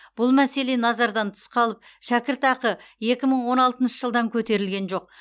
бұл мәселе назардан тыс қалып шәкіртақы екі мың он алтыншы жылдан көтерілген жоқ